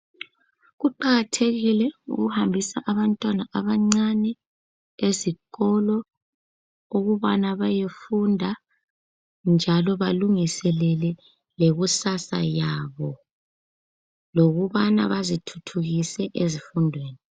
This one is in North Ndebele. Kuqakathekile ukuhambisa abantwana abancane ezikolo ukuthi bayofunda lokuthi balunguselele ikusasa yabo lokubana bazithuthukise ezifundweni